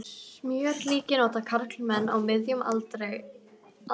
Smjörlíki nota karlmenn á miðjum aldri aldrei.